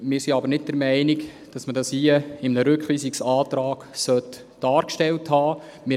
Wir sind aber nicht der Meinung, dass man das in einem Rückweisungsantrag dargestellt haben sollte.